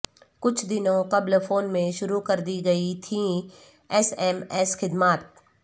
کچھ دنوں قبل فون میں شروع کردی گئی تھیں ایس ایم ایس خدمات